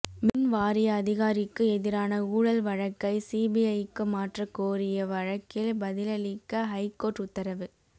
மின் வாரிய அதிகாரிக்கு எதிரான ஊழல் வழக்கை சிபிஐக்கு மாற்ற கோரிய வழக்கில் பதிலளிக்க ஹைகோர்ட் உத்தரவு